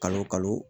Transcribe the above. Kalo o kalo